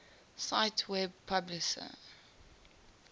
cite web publisher